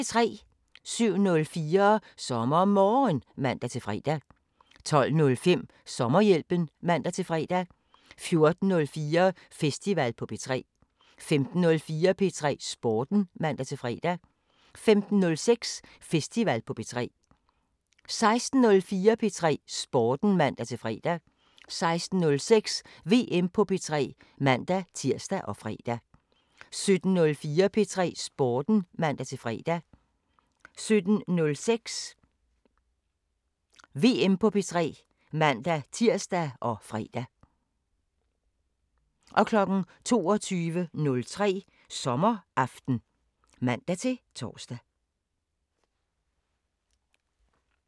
07:04: SommerMorgen (man-fre) 12:05: Sommerhjælpen (man-fre) 14:04: Festival på P3 15:04: P3 Sporten (man-fre) 15:06: Festival på P3 16:04: P3 Sporten (man-fre) 16:06: VM på P3 (man-tir og fre) 17:04: P3 Sporten (man-fre) 17:06: VM på P3 (man-tir og fre) 22:03: Sommeraften (man-tor)